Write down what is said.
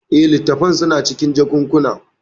Eh, littattafan suna cikin jakunkuna.